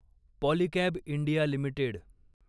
Polycab India limited